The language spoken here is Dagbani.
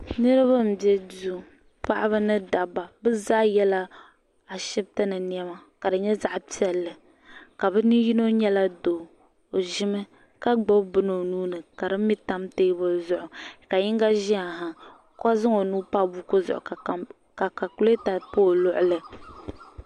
niriba m-be duu paɣaba ni dabba bɛ zaa yela Ashibiti ni nɛma ka di nyɛ zaɣ' piɛlli ka bɛ ne' yino nyɛla doo o ʒimi ka gbubi bini o nuu ni ka di mi tam teebuli zuɣu ka yinga ʒiya ha ka zaŋ o nuu pa buku zuɣu ka kaakuleta pa o luɣuli.